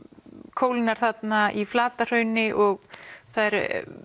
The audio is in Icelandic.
kólnar þarna í Flatahrauni og það eru